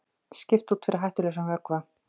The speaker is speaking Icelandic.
Skipt út fyrir hættulausan vökva